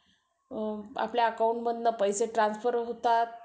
आपल्या account मधनं पैसे Transfer होतात